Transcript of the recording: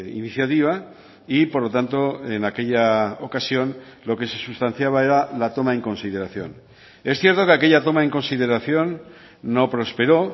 iniciativa y por lo tanto en aquella ocasión lo que se sustanciaba era la toma en consideración es cierto que aquella toma en consideración no prosperó